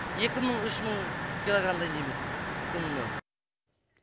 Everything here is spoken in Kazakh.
екі мың үш мың киллограмм дайындаймыз күніне